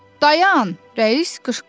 Dayan, rəis qışqırdı.